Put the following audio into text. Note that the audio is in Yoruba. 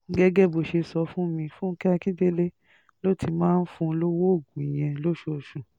gẹ́gẹ́ bó ṣe sọ fún mi fúnkẹ́ akíndélé ló ti máa ń fún un lọ́wọ́ oògùn yẹn lóṣooṣù